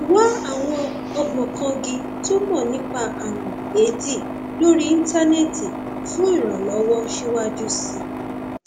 wá àwọn ògbóǹkangí tó mọ nípa ààrùn éèdì lórí íńtánẹẹtì fún ìrànlọwọ síwájú sí i